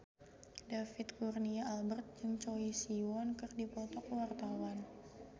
David Kurnia Albert jeung Choi Siwon keur dipoto ku wartawan